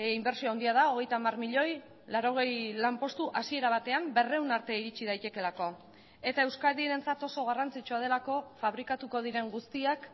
inbertsio handia da hogeita hamar milioi laurogei lanpostu hasiera batean berrehun arte iritsi daitekeelako eta euskadirentzat oso garrantzitsua delako fabrikatuko diren guztiak